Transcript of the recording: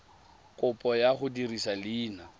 kopo ya go dirisa leina